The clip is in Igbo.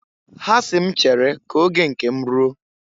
Ha si m m chere ka oge nke m ruo.